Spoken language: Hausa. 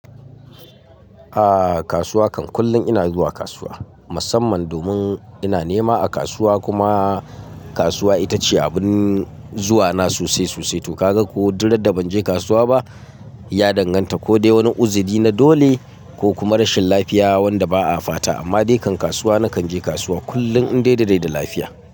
A kasuwa, kan kullum ina zuwa kasuwa. Musamman domin ina nema a kasuwa kuma kasuwa ita ce abun zuwa na sosai sosai. To ka ga ko durrada ban je kasuwa ba ya danganta ko dai wani uziri na dole ko kuma rashin lafiya wanda ba a fata. Amma dai kan kasuwa na kan je kasuwa kullum in dai da rai da lafiya.